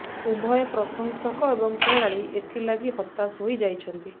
ଉଭୟ ପ୍ରଶଂସକ ଏବଂ ଖେଳାଳି ଏଥିଲାଗି ହତାଶ ହୋଇ ଯାଇଛନ୍ତି